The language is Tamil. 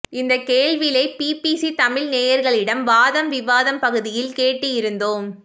இந்த கேள்விளை பிபிசி தமிழ் நேயர்களிடம் வாதம் விவாதம் பகுதியில் கேட்டிருந்தோம்